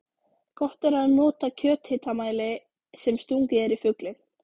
Gott er að nota kjöthitamæli sem stungið er í fuglinn.